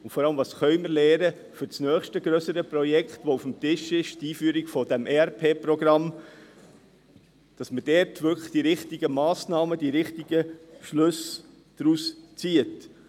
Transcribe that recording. Und vor allem: Was können wir für das nächste grössere Projekt, das auf dem Tisch ist – die Einführung des ERP-Programms – lernen, damit wir dort wirklich die richtigen Massnahmen, die richtigen Schlüsse daraus ziehen?